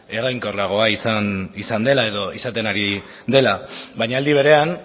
eraginkorragoa izan dela edo izaten ari dela baina aldi berean